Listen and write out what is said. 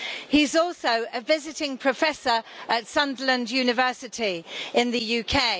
He's also a visiting professor at Sunderland University in the UK.